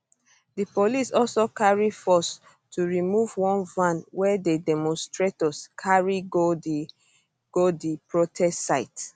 di police also carry force to remove one van wey di demonstrators carry go di go di protest site